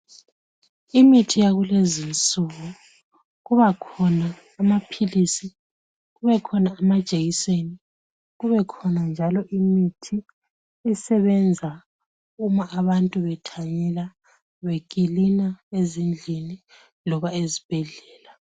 Imithi yakulezinsuku: kubakhona amaphilisi, kubekhona amajekiseni, kubekhona njalo imithi esebenza abantu bethanyela , bekilina ezindlini loba ezibhedlela.